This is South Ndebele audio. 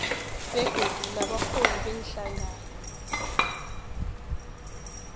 begodu nabarholi beenhlangano